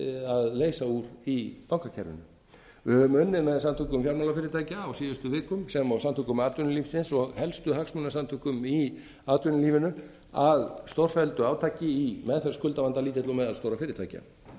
að leysa úr því í bankakerfinu við höfum unnið með samtökum fjármálafyrirtækja á síðustu vikum sem og samtökum atvinnulífsins og helstu hagsmunasamtökum í atvinnulífinu að stórfelldu átaki í meðferð skuldavanda lítilla og meðalstórra